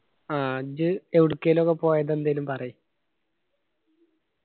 ആ ഇജ്ജ് എവടക്കേലു ഒക്കെ പോയത് എന്തേലും പറയ്